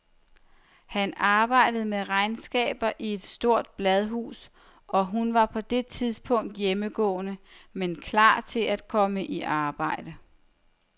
Han arbejde med regnskaber i et stort bladhus, og hun var på det tidspunkt hjemmegående, men klar til at komme i arbejde.